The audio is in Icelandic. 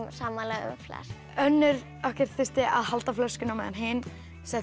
sammála um flest önnur þurfti að halda flöskunni á meðan hin setti